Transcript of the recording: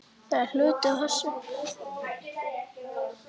Það er hluti af þessu.